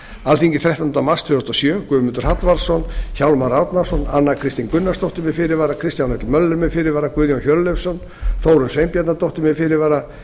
alþingi þrettánda mars tvö þúsund og sjö guðmundur hallvarðsson hjálmar árnason anna kristín gunnarsdóttir með fyrirvara kristján l möller með fyrirvara guðjón hjörleifsson þórunn sveinbjarnardóttir með fyrirvara